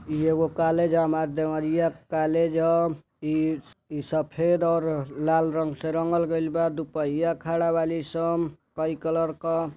इ एगो कॉलेज ह। हमार देवरियां कॉलेज ह इ। इ सफेद और लाल रंग से रंगल गईल बा दुपहिया खड़ा बाली सं कई कलर क --